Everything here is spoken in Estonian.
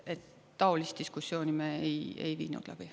Taolist diskussiooni me ei viinud läbi.